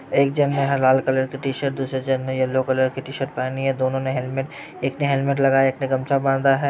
एक जन ने लाल कलर की टी-शर्ट दूसरे जन ने येल्लो कलर की टी-शर्ट पहनी हैँ। दोनों ने हेलमेट एक ने हेलमेट लगाया हैँ। एक ने गमछा बांधा हैँ।